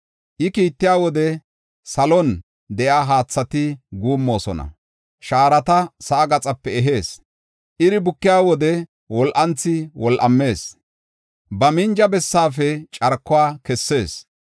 I kiittiya wode, salon de7iya haathati guummoosona. Shaarata sa7aa gaxape ehees; iri bukiya wode wol7anthi wol7amees; ba minja bessaafe carkuwa kessees.